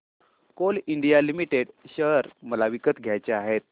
Coal India limited share मला विकत घ्यायचे आहेत